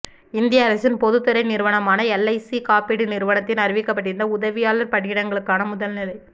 இந்திய அரசின் பொதுத்துறை நிறுவனமான எல்ஐசி காப்பீட்டு நிறுவனத்தில் அறிவிக்கப்பட்டிருந்த உதவியாளர் பணியிடங்களுக்கான முதல்நிலை